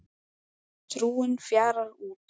Trúin fjarar út